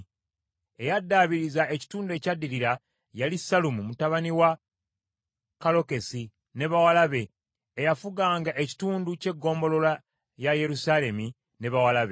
Eyaddaabiriza ekitundu ekyaddirira yali Sallumu mutabani wa Kallokesi ne bawala be, eyafuganga ekitundu ky’eggombolola ya Yerusaalemi ne bawala be.